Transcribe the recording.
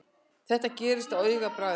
Þetta gerðist á augabragði.